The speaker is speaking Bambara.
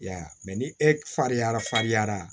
I y'a ye ni e faryara farinyara